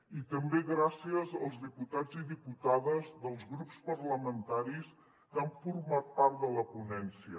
i també gràcies als diputats i diputades dels grups parlamentaris que han format part de la ponència